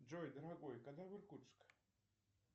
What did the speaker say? джой дорогой когда в иркутск